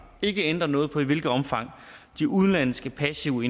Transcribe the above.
ikke ændrer noget på i hvilket omfang de udenlandske passive